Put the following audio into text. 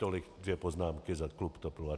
Tolik dvě poznámky za klub TOP 09. Děkuji.